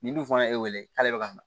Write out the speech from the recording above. Ni dun fana ye wele k'ale bɛ ka na